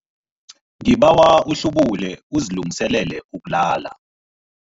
Ngibawa uhlubule uzilungiselele ukulala.